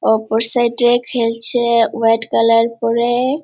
অপর সাইডে খেলছে হোয়াইট কালার পরে।